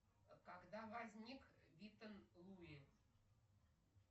когда возник виттон луи